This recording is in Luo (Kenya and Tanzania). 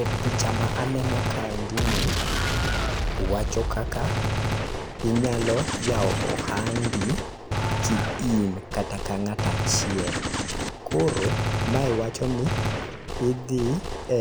E picha ma aneno kaendi ni, wacho kaka inyalo yao ohandi ki in, kata ka ng'ato achiel. Koro mae wacho ni idhi e